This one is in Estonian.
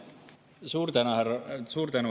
Suur tänu, härra Kokk!